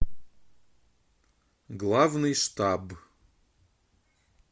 главный штаб